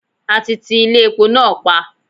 A ti ti Ilé epo náà pa.